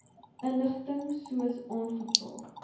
inligting soos aangevra